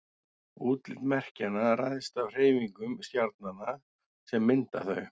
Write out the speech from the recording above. útlit merkjanna ræðst af hreyfingum stjarnanna sem mynda þau